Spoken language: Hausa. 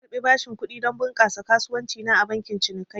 Na karbi bashin kudi don bunƙasa kasuwanci na a bankin cinikayya